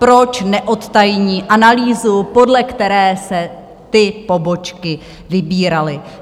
Proč neodtajní analýzu, podle které se ty pobočky vybíraly?